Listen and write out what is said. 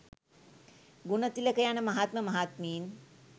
ගුණතිලක යන මහත්ම මහත්මීන්